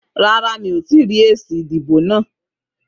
Rárá, mi ò tí ì rí èsì ìdìbò náà.